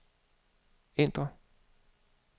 ændr